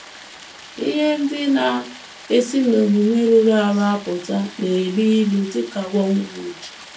Ihe ndị na - esi n’omume rụrụ arụ apụta na - elu ilu dị ka wormwood